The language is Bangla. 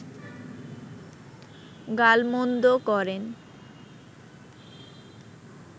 গালমন্দ করেন